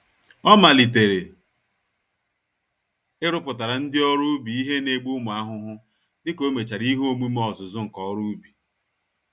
Ọ malitere ịrụpụtara ndị ọrụ ubi ihe N'egbu ụmụ ahụhụ, dịka omechara ihe omume ọzụzụ nka-oru-ubi.